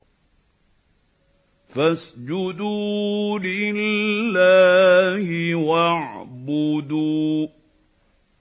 فَاسْجُدُوا لِلَّهِ وَاعْبُدُوا ۩